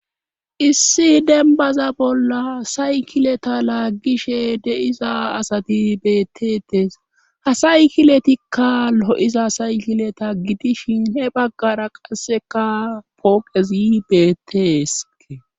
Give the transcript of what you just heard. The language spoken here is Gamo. issi dembaza bolla saykileta laaggishe deiza asati beettetees ha saykiletikka lo7iza saykileta gidishin he baggara qasseka pooqezi beettese